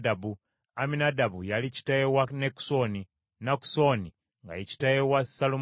Amminadaabu yali kitaawe wa Nakusoni, Nakusoni nga ye kitaawe wa Salumooni;